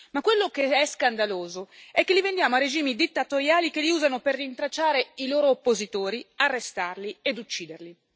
Ma quello che è scandaloso è che li vendiamo a regimi dittatoriali che li usano per rintracciare i loro oppositori, arrestarli e ucciderli.